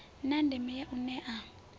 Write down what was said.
na ndeme ya u nea